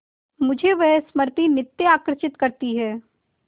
मुझे वह स्मृति नित्य आकर्षित करती है